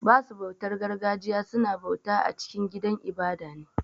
Basu bautar gargajiya su na bauta cikin gidan ibada ne.